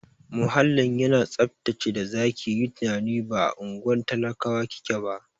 Muhallin yana tsaftace da zaki yi tunanin ba a unguwar talakawa kike ba.